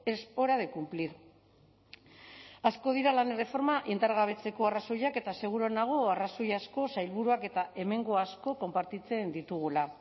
es hora de cumplir asko dira lan erreforma indargabetzeko arrazoiak eta seguru nago arrazoi asko sailburuak eta hemengo asko konpartitzen ditugula